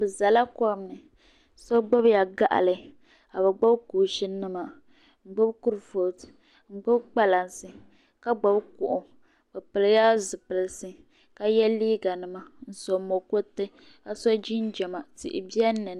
Bɛ zala kom ni so gbubila gaɣili ka bɛ gbubi kuushinima n-gbubi kurufootu n-gbubi kpalansi ka gbubi kuɣu bɛ pilila zipilisi ka ye liiganima n-so mukuriti ka so jinjama tihi be ni.